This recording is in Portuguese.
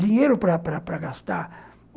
Dinheiro para para para gastar.